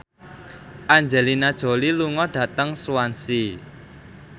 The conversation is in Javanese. Angelina Jolie lunga dhateng Swansea